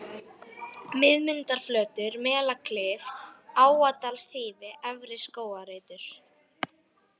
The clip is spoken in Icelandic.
Miðmundarflötur, Melaklif, Áadalsþýfi, Efri-Skógarreitur